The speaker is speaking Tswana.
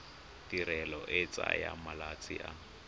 tirelo e tsaya malatsi a